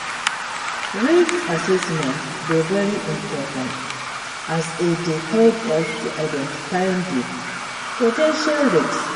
Risk assessment dey very important as e dey help us to identify di po ten tial risks.